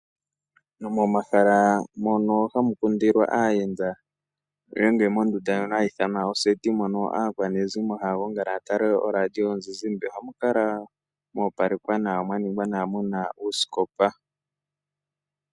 Momahala mono hamu kundilwa aayenda nenge mondunda ndjono hayi ithanwa oseti mono aakwanezimo haya gongala ya tale oradio yomuzizi ba ohamu kala mo opalekwa nawa mwa ningwa nawa mu na uusikopa.